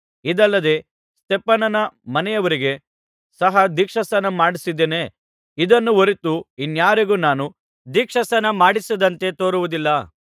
ಇದಲ್ಲದೆ ಸ್ತೆಫನನ ಮನೆಯವರಿಗೆ ಸಹ ದೀಕ್ಷಾಸ್ನಾನಮಾಡಿಸಿದ್ದೇನೆ ಇದನ್ನು ಹೊರತು ಇನ್ನಾರಿಗೂ ನಾನು ದೀಕ್ಷಾಸ್ನಾನಮಾಡಿಸಿದಂತೆ ತೋರುವುದಿಲ್ಲ